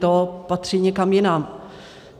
To patří někam jinam.